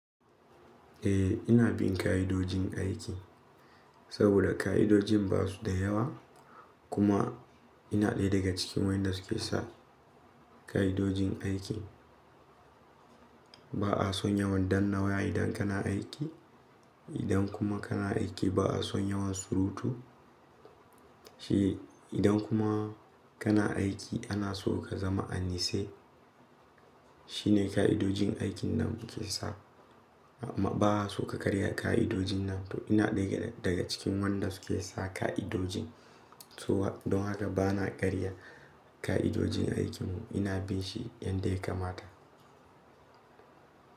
Eh, ina bin ka'idojin aiki saboda ka'idojin ba su da yawa. Kuma ina ɗaya daga cikin waɗanda suke sa ka'idojin aiki. Ba a son yawan dann nawa idan kana aiki, idan kuma kana aiki ba a son yawan surutu. Shi idan kuma kana aiki ana so ka zama annise. Shine ka'idojin aikin nan ake sa. Ba a so ka karya ka'idojin nan. To ina ɗaya daga cikin waɗanda suke sa ka'idojin. Don haka ba na karya ka'idojin aikin mu. Ina bin shi yanda ya kamata.